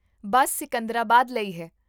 ਬੱਸ ਸਿਕੰਦਰਾਬਾਦ ਲਈ ਹੈ